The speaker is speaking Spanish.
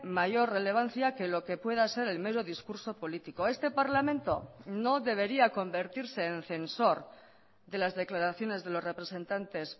mayor relevancia que lo que pueda ser el mero discurso político este parlamento no debería convertirse en censor de las declaraciones de los representantes